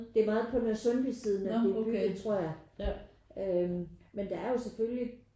Det er meget på Nørresundby siden at det er bygget tror jeg øh men der er jo selvfølgelig